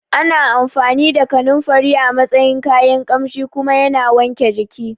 Ana amfani da Kananfari a matsayin kayan Ƙamshi kuma yana wanke jiki